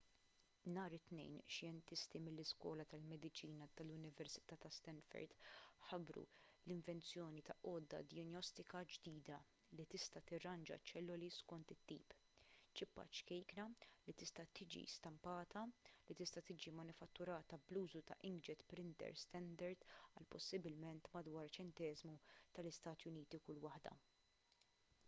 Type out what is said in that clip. nhar it-tnejn xjentisti mill-iskola tal-mediċina tal-università ta' stanford ħabbru l-invenzjoni ta' għodda dijanjostika ġdida li tista' tirranġa ċ-ċelloli skont it-tip ċippa ċkejkna li tista' tiġi stampata li tista' tiġi manifatturata bl-użu ta' inkjet printers standard għal possibilment madwar ċenteżmu tal-istati uniti kull waħda